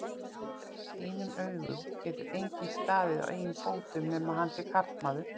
þínum augum getur enginn staðið á eigin fótum nema hann sé karlmaður.